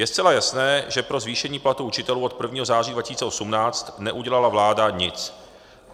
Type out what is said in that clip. Je zcela jasné, že pro zvýšení platů učitelů od 1. září 2018 neudělala vláda nic.